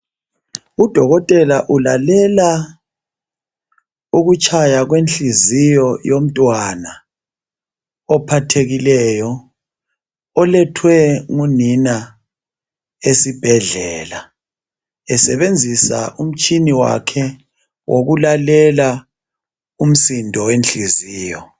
Odokotela ulalela ukutshaya kwenhliziyo yomntwana ophathekileyo. Olethwe ngunina esibhedlela. Esebenzisa umtshina wakhe wokulalela umsindo wehliziyo.